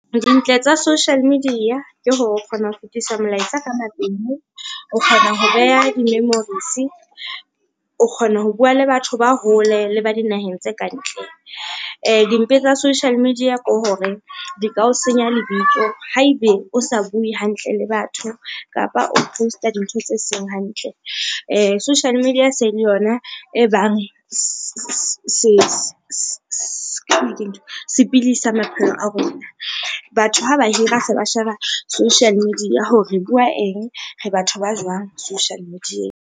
Dintle tsa social media ke hore o kgona ho fetisa molaetsa ka , o kgona ho beha di-memories, o kgona ho bua le batho ba hole le ba dinaheng tse kantle. Dimpe tsa social media ke hore di ka o senya lebitso haebe o sa bue hantle le batho kapa o post-a dintho tse seng hantle. Social media se le yona e bang sepili sa maphelo a rona. Batho ha ba hira se ba sheba social media hore re bua eng, re batho ba jwang social media-eng.